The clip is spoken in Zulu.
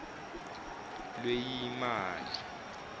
lweyimali